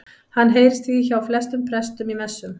Hann heyrist því hjá flestum prestum í messum.